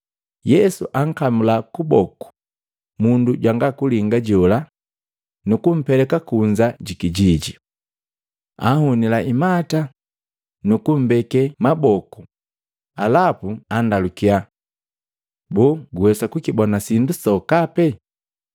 Yesu ankamla kuboku mundu jwanga kulinga jola nuku mpeleka kunza ji kijiji. Anhunila imata, nukumbeke maboku, alapu anndalukyai, “Boo guwesa kukibona sindo sokape?”